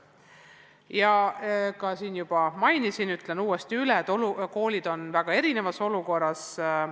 Ma küll juba mainisin seda, aga ütlen uuesti, et koolid on väga erinevas olukorras.